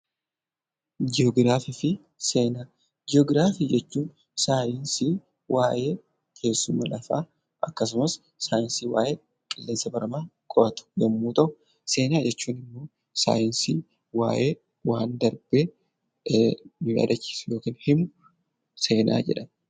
Ji'ograafii jechuun saayinsii waa'ee teessuma lafaa, akkasumas qilleensa baramaa qoratu yommuu ta'u, Seenaa jechuun immoo saayinsii waa'ee waan darbee nu yaadachiisu yookiin himu seenaa jedhama.